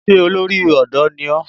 Ṣé olórí ọ̀dọ́ ni ó?